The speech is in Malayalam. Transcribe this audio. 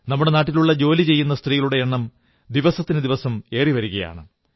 നമ്മുടെ നാട്ടിലുള്ള ജോലി ചെയ്യുന്ന സ്ത്രീകളുടെ എണ്ണം ദിനംതോറും ഏറിവരുകയാണ്